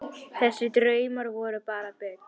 Þessir draumar voru bara bull.